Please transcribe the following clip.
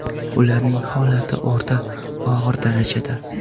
Ularning holati o‘rta og‘ir darajada.